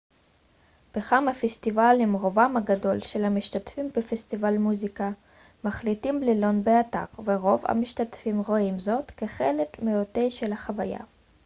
בכמה פסטיבלים רובם הגדול של המשתתפים בפסטיבלי מוזיקה מחליטים ללון באתר ורוב המשתתפים רואים זאת כחלק מהותי של החוויה